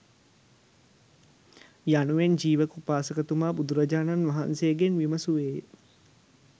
යනුවෙන් ජීවක උපාසකතුමා බුදුරජාණන් වහන්සේගෙන් විමසුවේය.